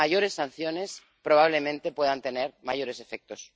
Mayores sanciones probablemente puedan tener mayores efectos.